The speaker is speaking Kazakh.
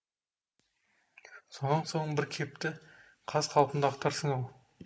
сонан соң бір кепті қаз қалпында ақтарсын ау